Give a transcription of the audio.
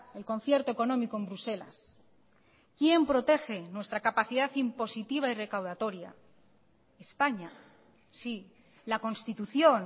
el concierto económico en bruselas quién protege nuestra capacidad impositiva y recaudatoria españa sí la constitución